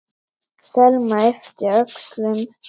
Selma yppti öxlum.